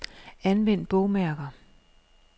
Anvend bogmærker.